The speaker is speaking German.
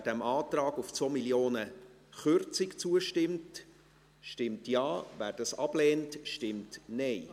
Wer dem Antrag auf Kürzung um 2 Mio. Franken zustimmt, stimmt Ja, wer dies ablehnt, stimmt Nein.